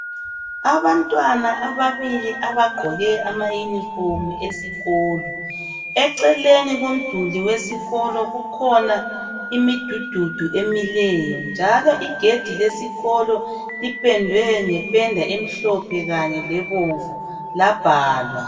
abantwana ababili abagqoke ama uniform esikolo eceleni komduli wesikolo kukhona imidududu emileyo njalo igedi lesikolo lipendwe ngependa emhlophe kanye lebomvu labhalwa